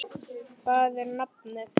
Hvað er nafnið?